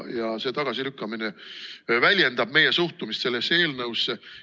Ja see tagasilükkamine väljendab meie suhtumist sellesse eelnõusse.